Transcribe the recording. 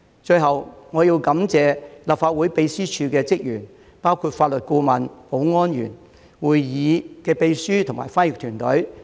最後，我要感謝立法會秘書處的職員，包括法律顧問、保安員、會議秘書及翻譯團隊。